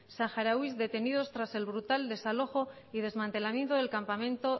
saharauis detenidos tras el brutal desalojo y desmantelamiento del campamento